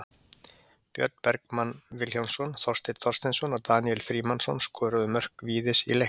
Björn Bergmann Vilhjálmsson, Þorsteinn Þorsteinsson og Daníel Frímannsson skoruðu mörk Víðis í leiknum.